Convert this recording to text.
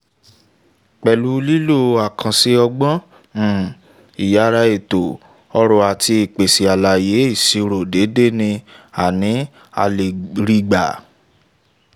pẹlu um lilo akanse ọgbọn um iyara eto-ọrọ ati ipese alaye iṣiro deede ni um a ni um a le ri gba.